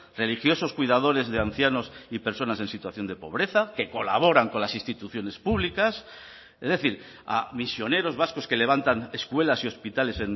religiosos cuidadores de ancianos y personas en situación de pobreza que colaboran con las instituciones públicas es decir a misioneros vascos que levantan escuelas y hospitales